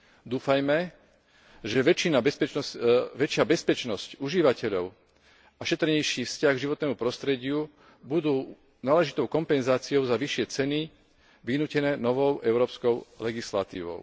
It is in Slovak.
Dúfajme, že väčšia bezpečnosť užívateľov a šetrnejší vzťah k životnému prostrediu budú náležitou kompenzáciou za vyššie ceny, vynútené novou európskou legislatívou.